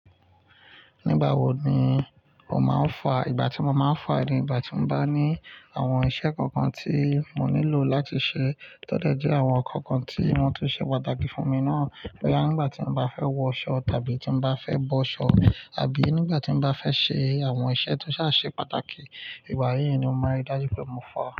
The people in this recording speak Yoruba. Nígbà wo ni mo máa ń fà? Ìgbà tí mo máa ń fà ni ìgbà tí mo bá ní àwọn iṣẹ́ kankan tí mo nílò láti ṣe tó de je, àwọn nǹkan kan tí wọ́n ti ṣe pàtàkì fún mi náà. Boya nígbà tí mo bá fẹ́ wọ ṣọ́ tàbí tí mo bá fẹ́ bọ́ ṣọ́, àbí nígbà tí mo bá fẹ́ ṣe àwọn iṣẹ́ tó sáà ṣe pàtàkì. Ìgbà yí ni mo máa rí dájú pé mo fà.